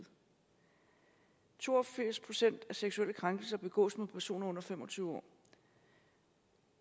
to og firs procent af seksuelle krænkelser begås mod personer under fem og tyve år